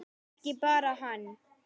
En ekki bara hann.